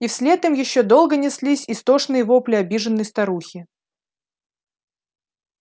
и вслед им ещё долго неслись истошные вопли обиженной старухи